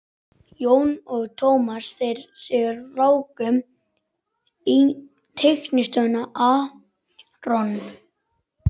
Jón og Tómas, þeir sem ráku teiknistofuna aRON